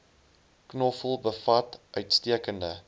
knoffel bevat uitstekende